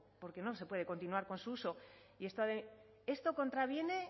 porque no se puede continuar con su uso esto contraviene